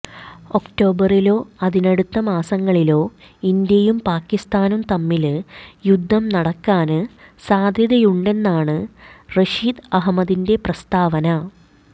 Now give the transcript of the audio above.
ഒക്ടോബറിലോ അതിനടുത്ത മാസങ്ങളിലോ ഇന്ത്യയും പാക്കിസ്ഥാനും തമ്മില് യുദ്ധം നടക്കാന് സാധ്യതയുണ്ടെന്നാണ് റഷീദ് അഹമ്മദിന്റെ പ്രസ്താവന